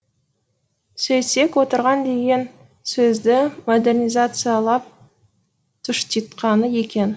сөйтсек отырған деген сөзді модернизациялап тұштитқаны екен